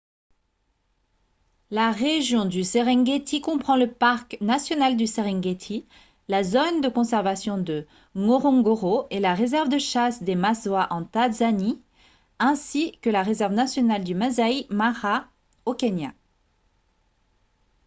la région du serengeti comprend le parc national du serengeti la zone de conservation de ngorongoro et la réserve de chasse des maswa en tanzanie ainsi que la réserve nationale du masai mara au kenya